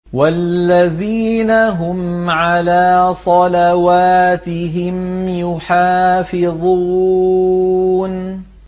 وَالَّذِينَ هُمْ عَلَىٰ صَلَوَاتِهِمْ يُحَافِظُونَ